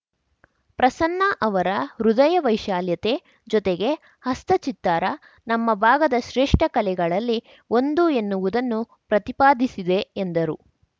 ಪ್ರಸನ್ನ ಅವರ ಹೃದಯ ವೈಶಾಲ್ಯತೆ ಜೊತೆಗೆ ಹಸೆ ಚಿತ್ತಾರ ನಮ್ಮ ಭಾಗದ ಶ್ರೇಷ್ಠ ಕಲೆಗಳಲ್ಲಿ ಒಂದು ಎನ್ನುವುದನ್ನು ಪ್ರತಿಪಾದಿಸಿದೆ ಎಂದರು